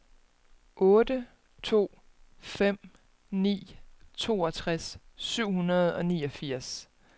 otte to fem ni toogtres syv hundrede og niogfirs